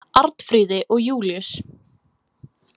Arnfríði og Júlíus.